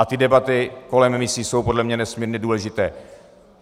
A ty debaty kolem misí jsou podle mne nesmírně důležité.